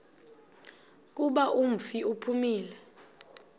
kuba umfi uphumile